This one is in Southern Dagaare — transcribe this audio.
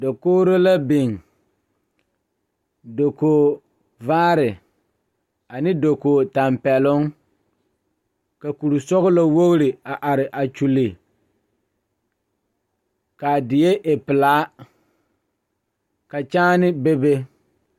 Dakogre la a kaŋa are la pegle bɔtuloŋ kaa pɔge are kaa zu waa pelaa su kpare ziɛ kaa bamine meŋ teɛ ba nuure kyɛ ba a wire ba nyɛmɛ.